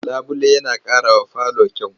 Labule yana ƙarawa falo kyau.